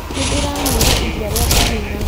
Nĩndĩranyuire iria rĩa ngamĩĩra.